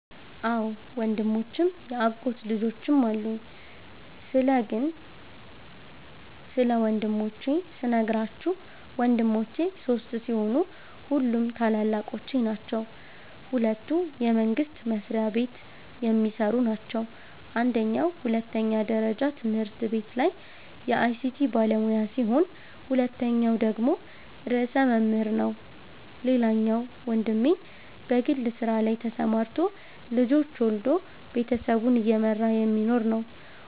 አዎ ወንድሞችም ያጎት ልጆችም አሉኝ ስለ ግን ስለ ወንድሞቼ ስነግራችሁ ወንድሞቼ ሶስት ሲሆኑ ሁሉም ታላላቆቼ ናቸዉ ሁለቱ የመንግስት መስሪያቤት የሚሰሩ ናቸው አንደኛዉ ሁለተኛ ደረጃ ትምህርት ቤት ላይ የአይቲ ባለሙያ ሲሆን ሁለተኛዉ ደግሞ ርዕሰ መምህር ነዉ ሌላኛዉ ወንድሜ በግል ስራ ላይ ተሰማርቶ ልጆች ወልዶ ቤተሰቡን እየመራ የሚኖር ነዉ።